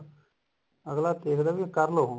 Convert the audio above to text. ਅੱਗਲਾ ਦੇਖਦਾ ਵੀ ਕਰਲੋ